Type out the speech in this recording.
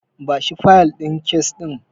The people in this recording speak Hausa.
Bashi fayil din kes ɗin.